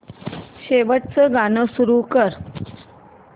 शेवटचं गाणं सुरू कर